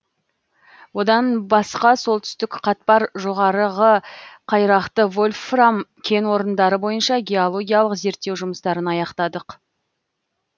одан басқа солтүстік қатпар жоғарғы қайрақты вольфрам кен орындары бойынша геологиялық зерттеу жұмыстарын аяқтадық